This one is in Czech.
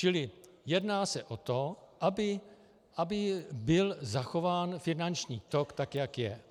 Čili jedná se o to, aby byl zachován finanční tok tak, jak je.